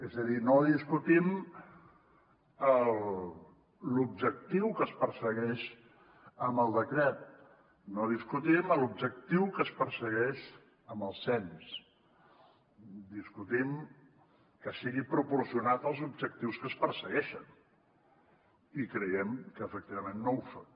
és a dir no discutim l’objectiu que es persegueix amb el decret no discutim l’objectiu que es persegueix amb el cens discutim que sigui proporcionat als objectius que es persegueixen i creiem que efectivament no ho són